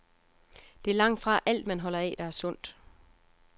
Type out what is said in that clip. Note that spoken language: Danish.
Det er langtfra alt, man holder af, der er sundt.